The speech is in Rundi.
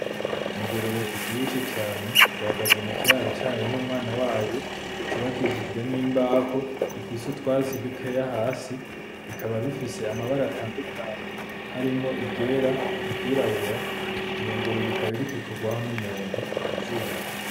Ingurube ivyibushe cane ihagaze mukiraro cayo n'umwana wayo, c'ubakishijwe n'imbaho gifise utwatsi dukeya hasi, rikaba rifise amabara atadukanye harimwo iryera, iry'irabura iyo ngurube ikaba iriko ikorwaho n'umuntu kuzuru.